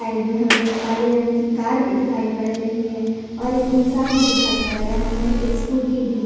side में हमें काले रंग की कार भी दिखाई पड़ रही है और एक इंसान भी दिखाई पड़ रहा है एक स्कूटी भी--